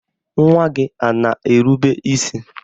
Nwa gị a na-erube isi?